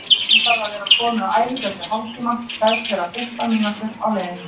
Hún þarf að vera komin á æfingu eftir hálftíma, kveðst vera fimmtán mínútur á leiðinni.